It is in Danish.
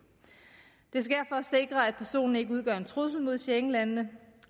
det sker for at sikre at personen ikke udgør en trussel mod schengenlandene